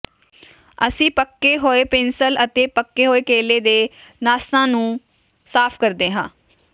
ਅਸੀਂ ਪੱਕੇ ਹੋਏ ਪਿੰਸਲ ਅਤੇ ਪੱਕੇ ਹੋਏ ਕੇਲੇ ਦੇ ਨਾਸਾਂ ਨੂੰ ਸਾਫ ਕਰਦੇ ਹਾਂ